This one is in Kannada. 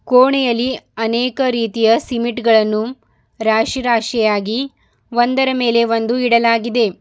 ಕೋಣೆಯಲ್ಲಿ ಅನೇಕ ರೀತಿಯ ಸಿಮಿಟ್ಗಳನ್ನು ರಾಶಿ ರಾಶಿಯಾಗಿ ಒಂದರ ಮೇಲೆ ಒಂದು ಇಡಲಾಗಿದೆ.